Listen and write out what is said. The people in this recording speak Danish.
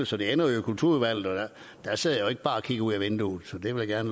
så det ender jo i kulturudvalget og der sidder jeg ikke bare og kigger ud ad vinduet det vil jeg